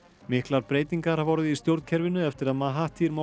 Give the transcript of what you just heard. miklar breytingar hafa orðið í stjórnkerfinu eftir að